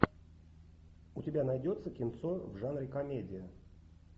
у тебя найдется кинцо в жанре комедия